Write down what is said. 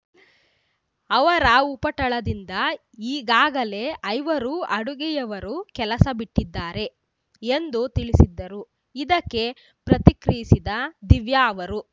ಅವರ ಉಪಟಳದಿಂದ ಈಗಾಗಲೇ ಐವರು ಅಡುಗೆಯವರು ಕೆಲಸ ಬಿಟ್ಟಿದ್ದಾರೆ ಎಂದು ತಿಳಿಸಿದ್ದರು ಇದಕ್ಕೆ ಪ್ರತಿಕ್ರಿಯಿಸಿದ ದಿವ್ಯಾ ಅವರು